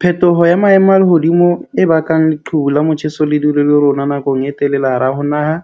Phetoho ya maemo a lehodimo e bakang leqhubu la motjheso le dule le rona nakong e telele, hara ho naha,